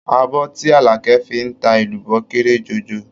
Abọ́ tí Àlàkẹ́ fi ń ta èlùbọ́ kéré jọjọ.